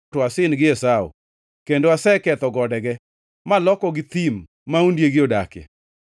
to asin gi Esau kendo aseketho godege, malokogi thim ma ondiegi odakie.”